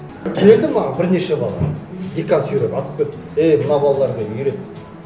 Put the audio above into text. келді маған бірнеше бала декан сүйреп алып келді е мына балаларға үйрет